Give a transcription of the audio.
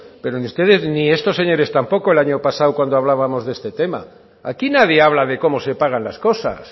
pero ni ustedes ni estos señores tampoco el año pasado cuando hablábamos de este tema aquí nadie habla de cómo se pagan las cosas